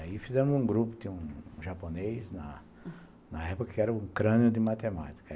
Aí fizemos um grupo, tinha um japonês, na na época que era o crânio de matemática.